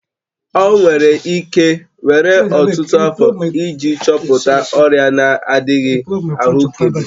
Ọ nwere ike were ọtụtụ afọ iji chọpụta ọrịa na-adịghị ahụkebe.